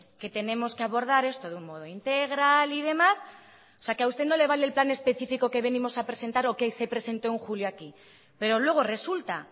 que tenemos que abordar esto de un modo integral y demás o sea que a usted no le vale el plan específico que venimos a presentar o que se presentó en julio aquí pero luego resulta